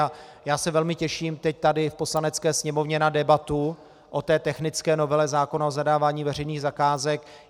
A já se velmi těším teď tady v Poslanecké sněmovně na debatu o té technické novele zákona o zadávání veřejných zakázek.